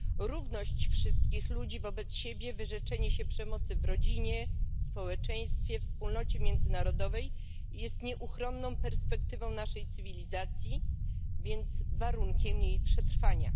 Równość wszystkich ludzi wobec siebie, wyrzeczenie się przemocy w rodzinie, w społeczeństwie, we wspólnocie międzynarodowej jest nieuchronną perspektywą naszej cywilizacji, a więc warunkiem jej przetrwania.